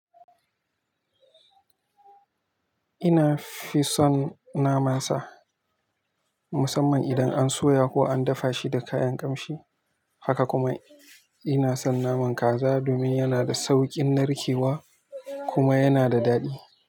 Ina fison naman sa musamman idan an soya ko an dafa shi da kayan kamshi. Haka kuma ina son naman kaza domin yana da sauƙin narkewa kuma yana da daɗi.